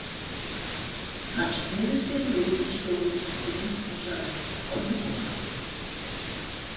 Hann sneri sér við í stofugættinni og sagði: Komdu kona!